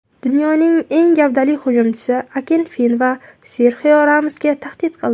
Dunyoning eng gavdali hujumchisi Akinfenva Serxio Ramosga tahdid qildi .